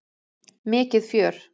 Mikið fjör!